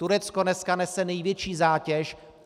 Turecko dneska nese největší zátěž.